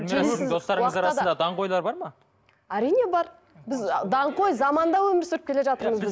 достарыңыз арасында даңғойлар бар ма әрине бар біз ы даңғой заманда өмір сүріп келе жатырмыз біз